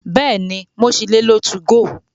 Bẹ́ẹ̀ni, mo ṣì lè lo 2go.